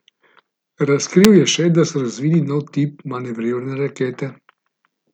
Razkril je še, da so razvili nov tip manevrirne rakete.